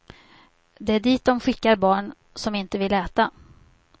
Det är dit dom skickar barn som inte vill äta.